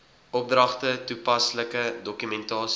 opdragte toepaslike dokumentasie